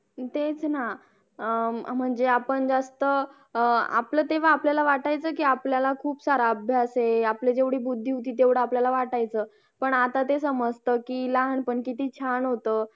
company मध्ये जे work साफ करतात त्यांचे premises कायये